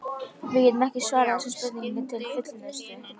Við getum ekki svarað þessari spurningu til fullnustu.